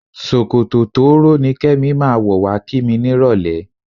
Ṣòkòtò tóóró ni Kẹ́mi máa wọ̀ wá kí mi nírọ̀lẹ́.